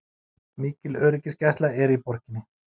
Mikil öryggisgæsla er í borginni